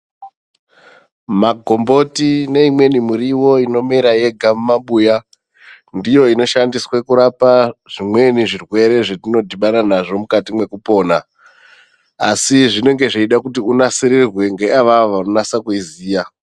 Magomboti neimweni miriwo inomera yega mumabuya ndizvo zvinoshandiswa kurapa zvimweni zvirwere zvatinodhibana nazvo mukati mwekupona asi zvinenge zveida kuti unasirirwe ngeawawo anonasa kuiziya.